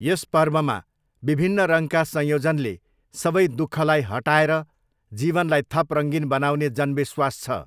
यस पर्वमा विभिन्न रङका संयोजनले सबै दुःखलाई हटाएर जीवनलाई थप रङ्गीन बनाउने जनविश्वास छ।